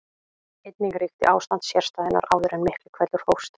Einnig ríkti ástand sérstæðunnar áður en Miklihvellur hófst.